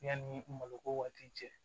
Yanni malo ko waati cɛ